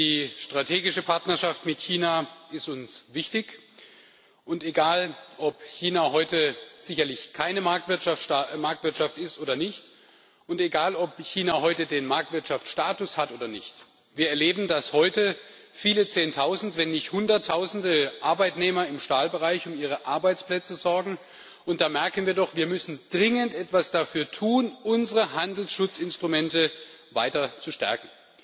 Die strategische Partnerschaft mit China ist uns wichtig, und egal, ob China heute keine Marktwirtschaft ist oder nicht und egal ob China heute den Marktwirtschaftsstatus hat oder nicht, so erleben wir, dass sich heute viele Zehntausend, wenn nicht Hunderttausend Arbeitnehmer im Stahlbereich um ihre Arbeitsplätze sorgen, und dann merken wir doch, dass wir dringend etwas dafür tun müssen, unsere Handelsschutzinstrumente weiter zu stärken.